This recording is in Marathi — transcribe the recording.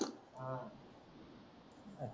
हा